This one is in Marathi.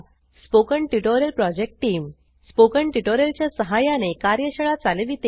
spoken tutorial project team spoken tutorial च्या सहाय्याने कार्यशाळा चालविते